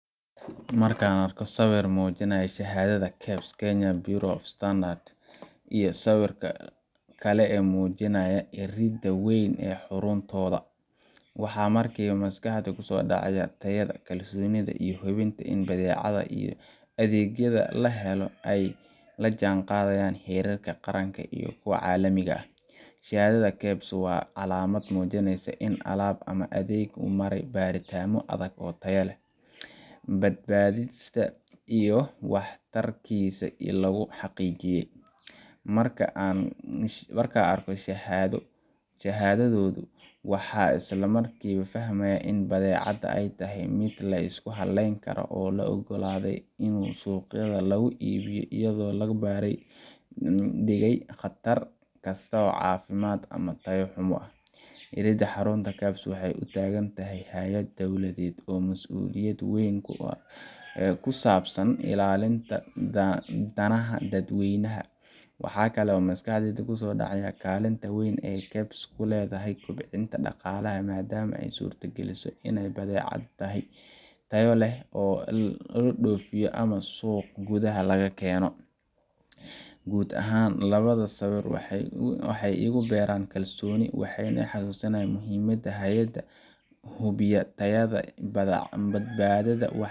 Marka an arko sawir muujinayo shahadada kebs, Kenya bureau of standards iyo sawirka kale ee muujinya irida weyn ee xaruntooda waxaa markiiba maskaxda kusoo dhacaya tayada, kalsoonida iyo hubinta ini badeecada iyo adeegyada lahelo ay lajan qadayaan heerarka qaranka iyo kuwa caalamiga ah, shahadada kebs waa caalamad muujineysa in alaab ama adeeg uu marey baritaamo adag oo taya leh, badbaadista iyo wax tarkiisa ee lugu xaqiijiye marka an arko shahadadoodu waxan isla markiiba fahmaya in badeecada ay tahay mid lisku haleynkara oo la ogaladay in suqyada lugu ibiyo iyada labaaran degay qatar kasto oo caafimad ama taya xumo ah, irida xarunta kebs waxay utagan tahay haayad dowladed oo mas'uliyad weyn ku ah ee kusabsan illalinta danaha dad weynaha, waxa kale oo maskaxdeyda kuso dhacaya kaalinta weyn ey kebs kuledahay kobcinta dhaqalaha maadama ay surta geliso inay badeeca tahay tayo leh oo la dhoofiyo ama suq gudaha laga keeno, guud ahan labada sawir waxay igu beeran kalsooni waxayna ii xasuusinayan muhiimada haayada hubiya tayada badbadada badeecada